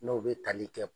N'o bɛ tali kɛ